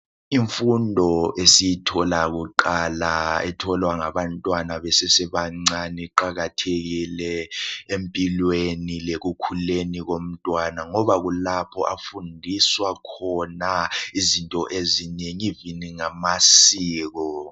Imfundo esiyithola kuqala etholwa ngabantwana besesebancane iqakathekile empilweni lekukhuleni komntwana ngoba kulapho afundiswa khona izinto ezinengi even ngamasiko.